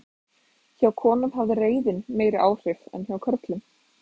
hjá konum hafði reiðin meiri áhrif en hjá körlum